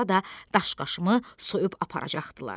sonra da daşqaşımı soyub aparacaqdılar.